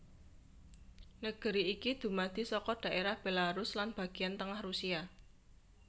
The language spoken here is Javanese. Negeri iki dumadi saka dhaerah Belarus lan bagéyan tengah Rusia